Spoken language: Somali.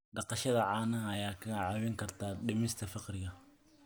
Dhaqashada caanaha ayaa kaa caawin karta dhimista faqriga.